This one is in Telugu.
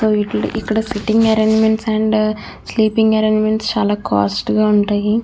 సో వీటిల్లో ఇక్కడ sitting arrangement and sleeping arrangements చాలా కాస్ట్ గ ఉంటాయి.